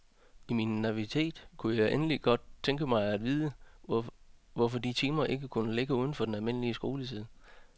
I min naivitet kunne jeg egentlig godt tænke mig at vide, hvorfor de timer ikke kunne ligge uden for den almindelige skoletid.